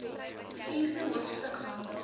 vierde hoofstuk handel